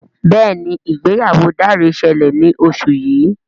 Béèni ìgbéyàwó Dare ṣẹlẹ ní oṣù yí.